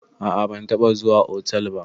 A a ban taɓa zuwa otal ba.